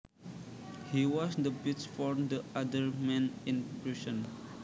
He was the bitch for the other men in prison